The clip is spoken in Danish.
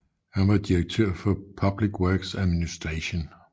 Han var direktør for Public Works Administration